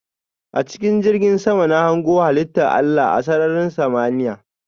A chikin jirgin sama na hango halitta Allah a sarrarin samaniya.